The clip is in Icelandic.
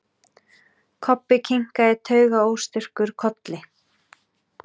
Kobbi kinkaði taugaóstyrkur kolli.